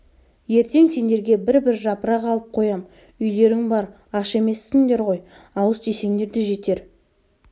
ертең сендерге бір-бір жапырақ алып қоям үйлерің бар аш емессіңдер ғой ауыз тисеңдер де жетер